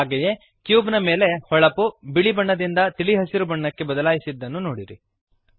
ಹಾಗೆಯೇ ಕ್ಯೂಬ್ ನ ಮೇಲಿನ ಹೊಳಪು ಬಿಳಿ ಬಣ್ಣದಿಂದ ತಿಳಿ ಹಸಿರು ಬಣ್ಣಕ್ಕೆ ಬದಲಾಯಿಸಿದ್ದನ್ನು ನೋಡಿರಿ